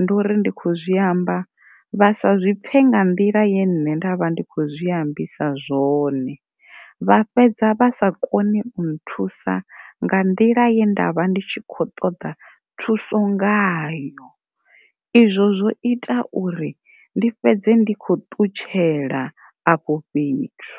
ndi uri ndi kho zwiamba vha sa zwipfe nga nḓila ye nne nda vha ndi khou zwi ambisa zwone vha fhedza vha sa koni u nthusa nga nḓila ye ndavha ndi tshi khou ṱoḓa thuso ngayo, izwo zwo ita uri ndi fhedze ndi khou ṱutshela afho fhethu.